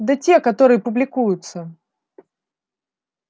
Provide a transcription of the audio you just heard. да те которые публикуются